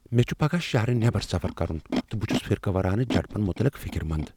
مےٚ چُھ پگاہ شہرٕ نٮ۪بر سفر کرن تہٕ بہٕ چُھس فرقہ وارانہٕ جھڑپن مطلق فکر مند ۔